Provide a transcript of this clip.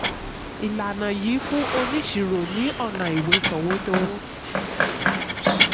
ìlànà yìí fún oníṣirò ní ọ̀nà ìwé sọ̀wédowó.